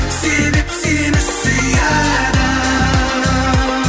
себеп сені сүйеді